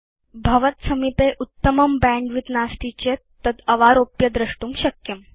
यदि भवत्सविधे बैण्डविड्थ उत्तमं नास्ति तर्हि भवान् तद् अवारोप्य द्रष्टुं शक्नोति